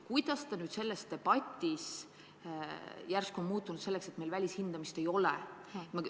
Kuidas nüüd selles debatis on järsku jutuks tulnud, et meil välishindamist ei ole?